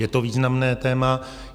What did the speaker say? Je to významné téma.